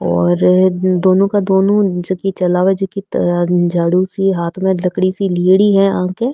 और दोनों की दोनों जिकी चलावे जिकी किते झाड़ू सी हाथ में लकड़ी सी लेयडी है आक।